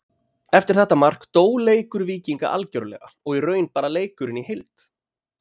Eftir þetta mark dó leikur Víkinga algjörlega og í raun bara leikurinn í heild.